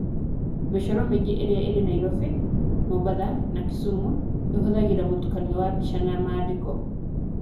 Mĩcoro mĩingĩ ĩrĩa ĩrĩ Nairobi, Mombatha na Kisumu ĩhũthagĩra mũtukanio wa mbica na maandĩko.